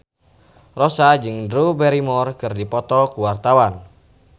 Rossa jeung Drew Barrymore keur dipoto ku wartawan